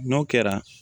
N'o kɛra